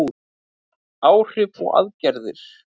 Áhrif og aðgerðir.